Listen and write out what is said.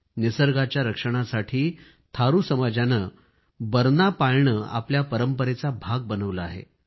निसर्गाच्या रक्षणासाठी थारू समाजाने बरना पाळणे आपल्या परंपरेचा भाग बनवले आहे